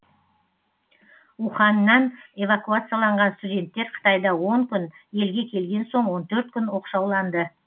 уханьнан эвакуацияланған студенттер қытайда он күн елге келген соң он төрт күн оқшауланды